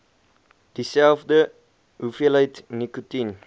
dieselfde hoeveelheid nikotien